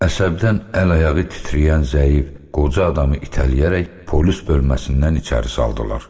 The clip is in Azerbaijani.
Əsəbdən əl-ayağı titrəyən zəif, qoca adamı itələyərək polis bölməsindən içəri saldılar.